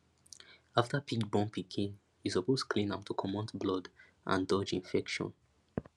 after pig born pikin you suppose clean am to comot blood and dodge infection